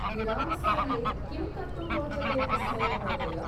विरामसमये किं कर्तुं रोचते तस्मै महोदय?